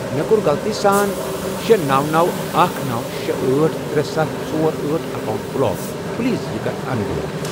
مےٚ کوٚر غلطی سان شے، نوَ، نوَ، اکھَ، نوَ، شے، أٹھ، ترے، ستھَ، ژور، أٹھ، اکاونٹ بلاک پلیز یہِ کَر ان بلاک۔